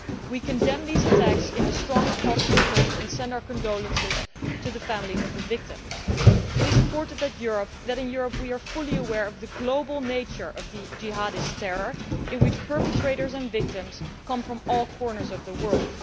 We condemn these attacks in the strongest possible terms and send our condolences to the families of the victims. It is important in Europe that we are fully aware of the global nature of the jihadist terror, in which perpetrators and victims come from all corners of the world.